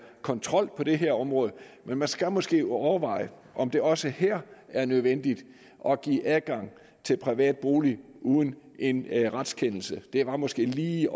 kontrol på det her område men man skal måske overveje om det også her er nødvendigt at give adgang til privat bolig uden en retskendelse det var måske lige